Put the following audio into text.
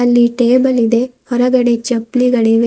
ಅಲ್ಲಿ ಟೇಬಲ್ ಇದೆ ಹೊರಗಡೆ ಚಪ್ಲಿಗಳಿವೆ.